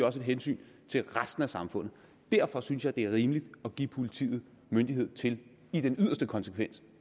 også et hensyn til resten af samfundet derfor synes jeg at det er rimeligt at give politiet myndighed til i den yderste konsekvens